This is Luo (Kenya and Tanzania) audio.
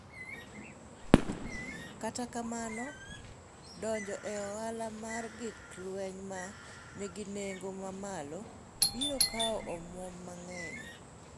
Kata kamano, donjo e ohala mar gik lweny ma nigi nengo mamalo biro kawo omwom mang’eny.